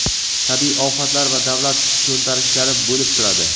tabiiy ofatlar va davlat to‘ntarishlari bo‘lib turadi.